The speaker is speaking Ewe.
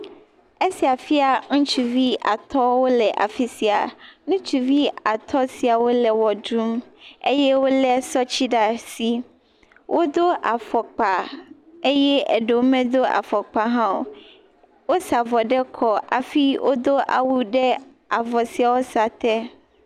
Esia fia ŋutsuvi at wole afisia, ŋutsuvi atɔ siawo le wɔ ɖum. Ye wole zɔ ti ɖe asi. Wodo afɔkpa eye eɖewo me do afɔkpa hã o. wosa avɔ ɖe kɔ eye wodo awu ɖe avɔ siawo sa te.